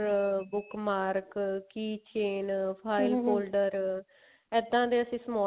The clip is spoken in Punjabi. book mark key chain holder ਇੱਦਾਂ ਦੇ ਅਸੀਂ small